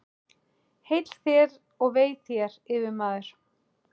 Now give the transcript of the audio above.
Heill þér og vei þér, yfirmaður!